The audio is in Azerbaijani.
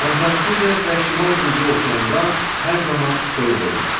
Antarktidada və Şimal Buzlu Okeanında hər zaman soyuq olur.